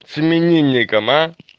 с именинником